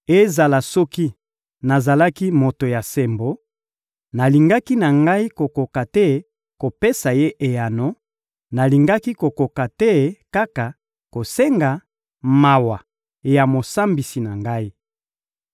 Ezala soki nazalaki moto ya sembo, nalingaki na ngai kokoka te kopesa Ye eyano; nalingaki kokoka nde kaka kosenga mawa ya Mosambisi na ngai.